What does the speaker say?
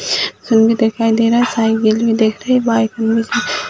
दिखाई दे रहा है साइकिल भी दिख रही है बाइक भी --